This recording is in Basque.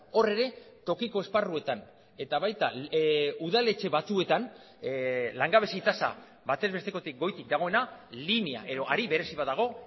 hor ere tokiko esparruetan eta baita udaletxe batzuetan langabezi tasa batez bestekotik goitik dagoena linea edo hari berezi bat dago